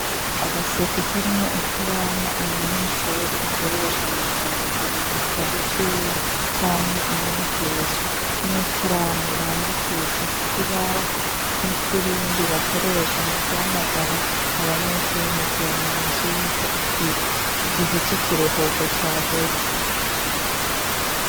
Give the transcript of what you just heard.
Agaseke karimwo i karamu umunyeshure akoresha mu kwandika mu gitabo ciwe, canke umwigisha n'ikaramu bandikisha ku kibaho n'ifirimbi bakoresha mu guhamagara abanyeshure mu kubamenyesha yuko igihe c'ikiruhuko caheze.